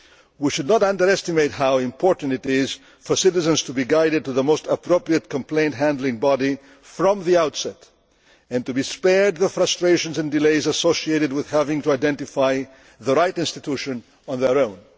We should not underestimate how important it is for citizens to be guided to the most appropriate complaint handling body from the outset and to be spared the frustrations and delays associated with having to identify the right institution on their own.